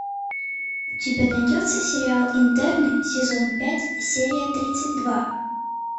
у тебя найдется сериал интерны сезон пять серия тридцать два